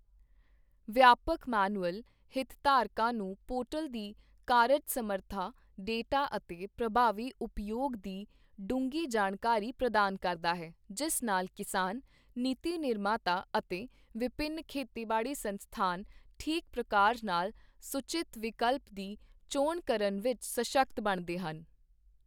ਵਿਆਪਕ ਮੈਨੂਅਲ ਹਿਤਧਾਰਕਾਂ ਨੂੰ ਪੋਰਟਲ ਦੀ ਕਾਰਜ ਸਮਰੱਥਾ, ਡੇਟਾ ਅਤੇ ਪ੍ਰਭਾਵੀ ਉਪਯੋਗ ਦੀ ਡੂੰਘੀ ਜਾਣਕਾਰੀ ਪ੍ਰਦਾਨ ਕਰਦਾ ਹੈ, ਜਿਸ ਨਾਲ ਕਿਸਾਨ, ਨੀਤੀ ਨਿਰਮਾਤਾ ਅਤੇ ਵਿਭਿੰਨ ਖੇਤੀਬਾੜੀ ਸੰਸਥਾਨ ਠੀਕ ਪ੍ਰਕਾਰ ਨਾਲ ਸੂਚਿਤ ਵਿਕਲਪ ਦੀ ਚੋਣ ਕਰਨ ਵਿੱਚ ਸਸ਼ਕਤ ਬਣਦੇ ਹਨ।